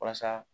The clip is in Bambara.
Walasa